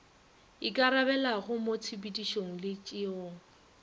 ikarabelago mo tshepedišong le tšeong